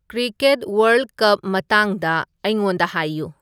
cricket world cup ꯃꯇꯥꯡꯗ ꯑꯩꯉꯣꯟꯗ ꯍꯥꯏꯌꯨ